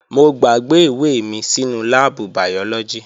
Mo gbàgbé ìwé mi sínú láàbù bàyọ́lọ́gì